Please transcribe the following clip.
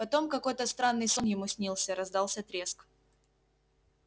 потом какой странный сон ему снился раздался треск